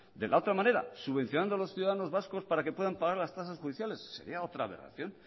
de la otra manera subvencionando a los ciudadanos vascos para que puedan pagar las tasas judiciales sería otra aberración